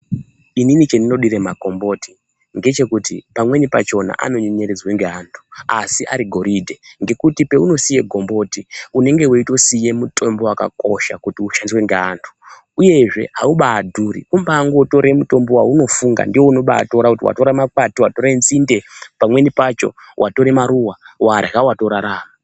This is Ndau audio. Inini chendinodire magomboti ndechekuti pamweni pachona anonyenyeredzwa ngeantu asi ari goridhe ngekuti peunosiye komboti unenge weitosiye mutombo wakakosha kiti ushandiswe ngeantu. Uyezve haubaadhuri, kumbaangotora mutombo waunofunga, ndewaunobaatora kuti watore makwati, watore nzinde. Pamweni pacho watore maruva, warya, watorarama.